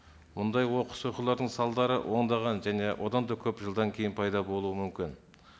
мұндай оқыс оқиғалардың салдары ондаған және одан да көп жылдан кейін пайда болуы мүмкін